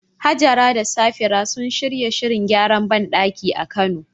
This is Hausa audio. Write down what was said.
Hajara da Safira sun shirya shirin gyaran bandaki a Kano